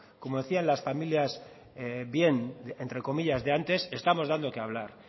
como decían en las familias bien entre comillas de antes estamos dando qué hablar